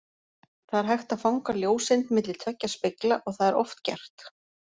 Það er hægt að fanga ljóseind milli tveggja spegla og það er oft gert!